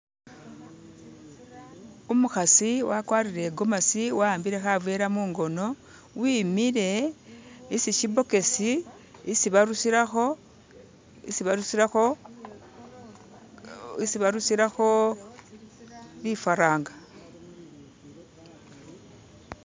umuhasi wakwarire igomasi wawambile havela mungono wimile isishibokisi isi barusiraho bifaranga